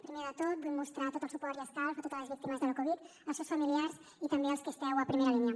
primer de tot vull mostrar tot el suport i escalf a totes les víctimes de la covid als seus familiars i també als que esteu a primera línia